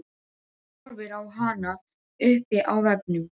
Horfir á hana uppi á veggnum.